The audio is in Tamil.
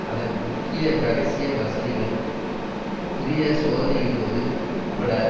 அதன் முக்கியமான இரகசிய வசதிகள் புதிய சோதனையிடுவது உட்பட